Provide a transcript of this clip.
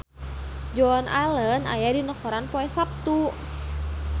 Joan Allen aya dina koran poe Saptu